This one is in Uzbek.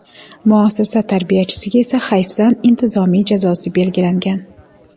Muassasa tarbiyachisiga esa hayfsan intizomiy jazosi belgilangan.